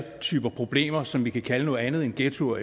type problemer som vi kan kalde noget andet end ghettoer